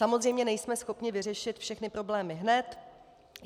Samozřejmě nejsme schopni vyřešit všechny problémy hned.